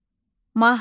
Mahnı.